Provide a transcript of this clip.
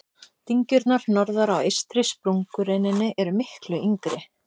Dyngjurnar norðar á eystri sprungureininni eru miklu yngri.